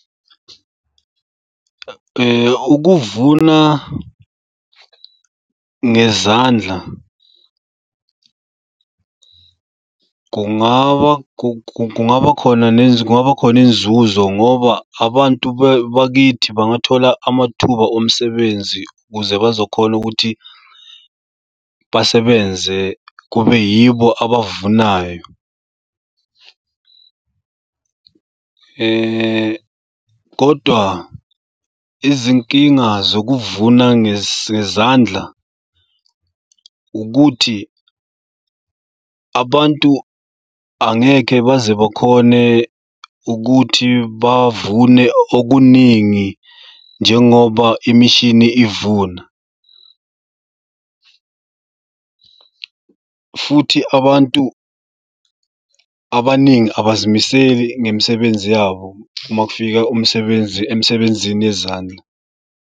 Ukuvuna ngezandla kungaba kungaba khona kungaba khona izinzuzo ngoba abantu bakithi bangathola amathuba omsebenzi ukuze bazokhona ukuthi basebenze kube yibo abavunayo. Kodwa izinkinga zokuvuma ngezandla ukuthi abantu angeke baze bakhone ukuthi bavune okuningi njengoba imishini ivuna. Futhi abantu abaningi abazimiseli ngemisebenzi yabo uma kufika umsebenzi emsebenzini yezandla.